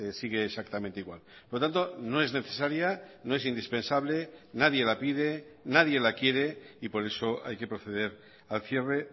sigue exactamente igual por lo tanto no es necesaria no es indispensable nadie la pide nadie la quiere y por eso hay que proceder al cierre